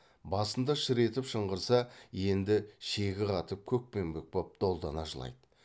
басында шыр етіп шыңғырса енді шегі қатып көкпеңбек боп долдана жылайды